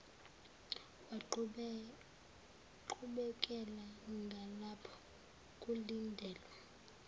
waqhubekela ngalapho kulindelwa